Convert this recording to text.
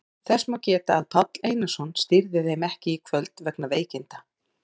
Þess má geta að Páll Einarsson stýrði þeim ekki í kvöld vegna veikinda.